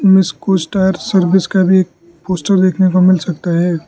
M S कोज tyre service का भी पोस्टर देखने को मिल सकता है।